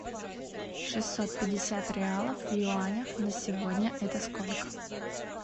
шестьсот пятьдесят реалов в юанях на сегодня это сколько